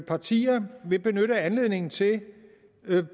partierne vil benytte anledningen til